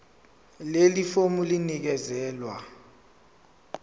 leli fomu linikezelwe